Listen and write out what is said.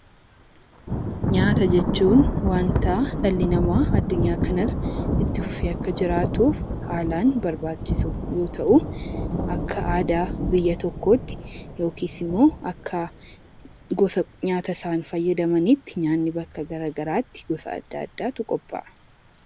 Nyaata jechuun kan akka dhalli namaa lafa kana irratti itti fufee akka jiraatuuf haalaan barbaachisu yoo ta'u akka aadaa biyya tokkootti yookiin immoo akka gosa isaan fayyadamaniitti nyaanni bakka garagaraatti gosa adda addaatu qophaa'a.